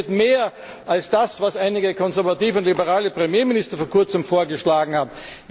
Ich hoffe, es geht mehr als das, was einige konservative und liberale Premierminister vor kurzem vorgeschlagen haben.